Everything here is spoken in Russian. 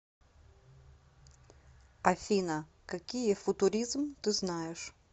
афина какие футуризм ты знаешь